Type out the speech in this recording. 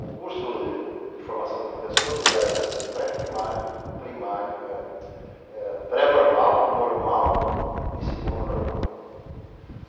O curso de formação de professores era da pré-primário, primário ãh ãh, pré-normal, normal e segundo normal.